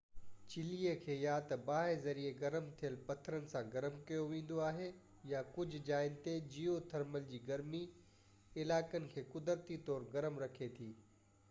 چلي کي يا تہ باهہ ذريعي گرم ٿيل پٿرن سان گرم ڪيو ويندو آهي يا ڪجهہ جائين تي جيو ٿرمل جي گرمي علائقن کي قدرتي طور گرم رکي ٿي